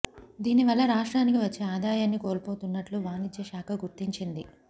దీని వల్ల రాష్ట్రానికి వచ్చే ఆదాయాన్ని కోల్పోతున్నట్లు వాణి జ్య శాఖ గుర్తించింది